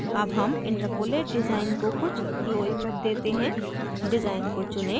अब हम interpolate design को कुछ glow इफ़ेक्ट देते हैं डिज़ाइन को चुनें